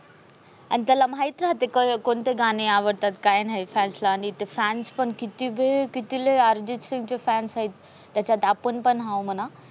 आणि त्याला माहित राहते कोणते गाणे आवडते. काय नाही fans ला आणि ते किती वेळ किती लय अर्जित सिंग चे fans आहेत. त्याच्यात आपण पण हाय मना.